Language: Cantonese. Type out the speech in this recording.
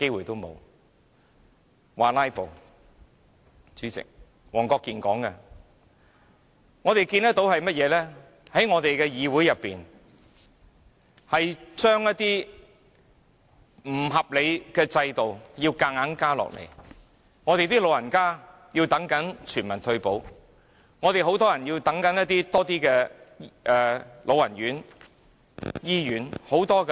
代理主席，黃國健議員說我們"拉布"，而我們卻看到議會要被強行施加不合理的制度，即使長者仍在等待全民退保，以及有不少人士正在輪候老人院和醫院服務。